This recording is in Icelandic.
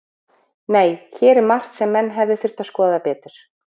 Nei, hér er margt sem menn hefðu þurft að skoða betur.